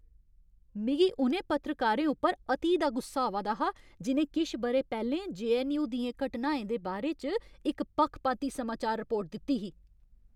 मिगी उ'नें पत्रकारें उप्पर अति दा गुस्सा आवा दा हा जि'नें किश ब'रे पैह्लें जे.ऐन्न.यू. दियें घटनाएं दे बारे च इक पक्खपाती समाचार रिपोर्ट दित्ती ही।